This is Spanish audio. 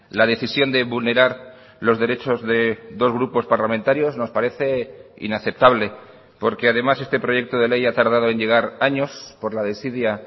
la decisión de vulnerar los derechos de dos grupos parlamentarios nos parece inaceptable porque además este proyecto de ley ha tardado en llegar años por la desidia